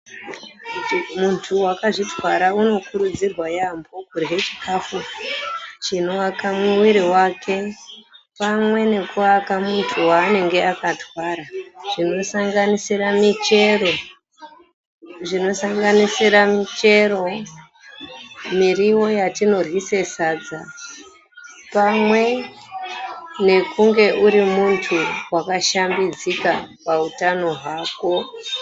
Muntu wakazvitwara anokurudzirwa yambo kurye chikafu chinoaka mwiri wake pamwe nekuaka muntu waanenge akatwara zvinosanganisira michero, zvinosanganisira michero, miriwo yatinoryise sadza pamwe nekunge uri muntu wakashambidzika pautano hwako .